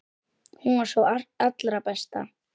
Hún var sú allra besta.